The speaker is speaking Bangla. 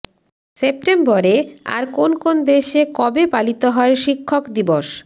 সেপ্টেম্বরে আর কোন কোন দেশে কবে পালিত হয় শিক্ষক দিবস